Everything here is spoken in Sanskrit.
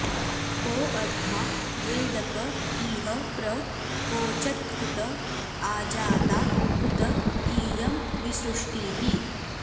को अ॒द्धा वे॑द॒ क इ॒ह प्र वो॑च॒त्कुत॒ आजा॑ता॒ कुत॑ इ॒यं विसृ॑ष्टिः